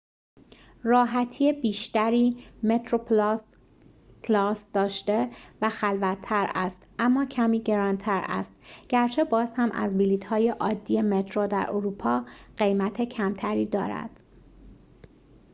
کلاس metroplus راحتی بیشتری داشته و خلوت‌تر است اما کمی گران‌تر است گرچه باز هم از بلیط‌های عادی مترو در اروپا قیمت کمتری دارد